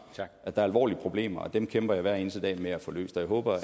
at der er alvorlige problemer og dem kæmper jeg hver eneste dag med at få løst og jeg håber at